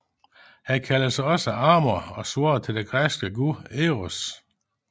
Han kaldes også Amor og svarer til den græske gud Eros